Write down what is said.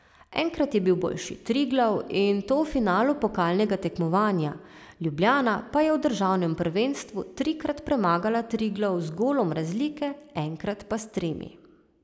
Enkrat je bil boljši Triglav in to v finalu pokalnega tekmovanja, Ljubljana pa je v državnem prvenstvu trikrat premagala Triglav z golom razlike, enkrat pa s tremi.